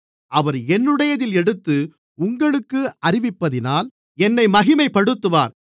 அவர் என்னுடையதில் எடுத்து உங்களுக்கு அறிவிப்பதினால் என்னை மகிமைப்படுத்துவார்